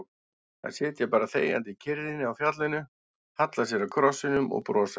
Þær sitja bara þegjandi í kyrrðinni á fjallinu, halla sér að krossinum og brosa.